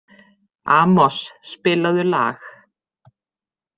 Amos, spilaðu lag.